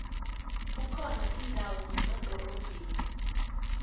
kukhona indawo zemadorobheni